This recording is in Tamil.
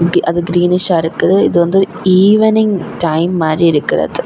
அது கிரீன்ஷா இருக்கு. இது வந்து ஈவினிங் டைம் மாரி இருக்கிறது.